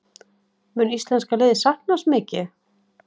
Mun íslenska liðið sakna hans mikið?